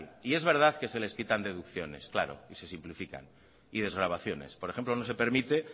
es verdad que se les quitan deducciones y se simplifican desgravaciones por ejemplo no se permite